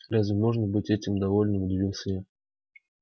разве можно быть этим довольным удивился я